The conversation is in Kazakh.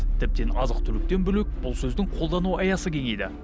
тіптен азық түліктен бөлек бұл сөздің қолдану аясы кеңейді